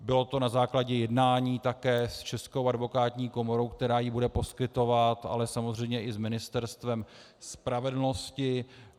Bylo to na základě jednání také s Českou advokátní komorou, která ji bude poskytovat, ale samozřejmě i s Ministerstvem spravedlnosti.